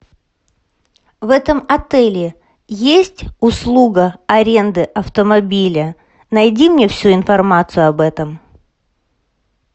в этом отеле есть услуга аренды автомобиля найди мне всю информацию об этом